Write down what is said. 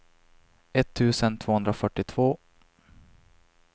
etttusen tvåhundrafyrtiotvå